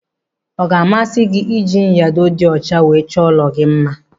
Ọ ga-amasị gị ịji nyado dị ọcha wee chọọ ụlọ gị mma?